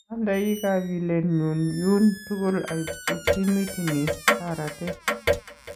Andai kakilenyun nyun tukul aibchi timit ni borotet.